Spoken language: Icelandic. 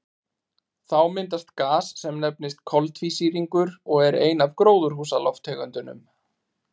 Þá myndast gas sem nefnist koltvísýringur og er ein af gróðurhúsalofttegundunum.